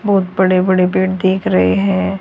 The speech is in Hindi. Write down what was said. बहोत बड़े बड़े पेड़ दिख रहे है।